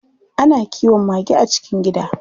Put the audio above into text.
Ana kiwon mage a cikin gida.